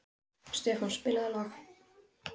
Stefán, spilaðu lag.